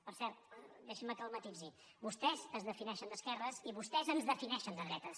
per cert deixi’m que el matisi vostès es defineixen d’esquerres i vostès ens defineixen de dretes